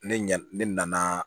Ne ɲa ne nana